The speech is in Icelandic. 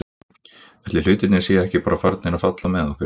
Ætli hlutirnir séu ekki bara farnir að falla með okkur?